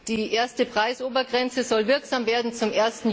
Die erste Preisobergrenze soll wirksam werden zum